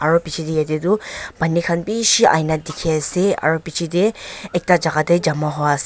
aro pichetey yatey tu paani han bishi ahina dikhi ase aro pichetey ekta jaka tey jama huiase.